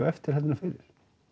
eftir heldur en fyrir